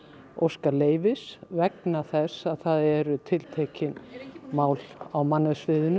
óska leyfis vegna þess að að það eru tiltekin mál á